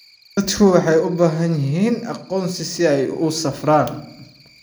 Dadku waxay u baahan yihiin aqoonsi si ay u safraan.